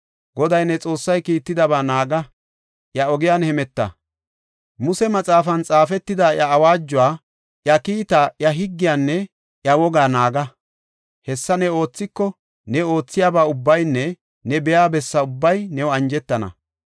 Goday ne Xoossay kiittidaba naaga; iya ogiyan hemeta; Muse maxaafan xaafetida iya awaajuwa, iya kiitaa, iya higgiyanne iya wogaa naaga. Hessa ne oothiko, ne oothiyaba ubbaynne ne biya bessa ubbay new injetana.